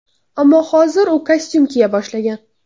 Ammo hozir u kostyum kiya boshlagan.